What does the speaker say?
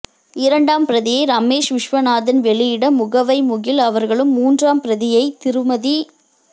இரண்டாம் பிரதியை ரமேஷ் விஸ்வநாதன் வெளியிட முகவை முகில் அவர்களும் மூன்றாம் பிரதியை திருமதி